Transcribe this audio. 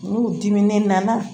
N'u diminen nana